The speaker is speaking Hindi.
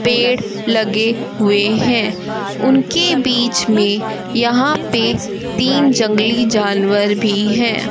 पेड़ लगे हुए है उनके बीच में यहां पे तीन जंगली जानवर भी हैं।